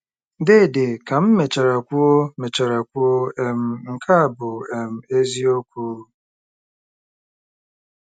Deede, ka m mechara kwuo mechara kwuo, um " nke a bụ um eziokwu !"